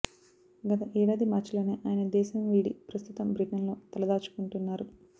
గత ఏడాది మార్చిలోనే ఆయన దేశం వీడి ప్రస్తుతం బ్రిటన్లో తలదాచుకుంటున్నారు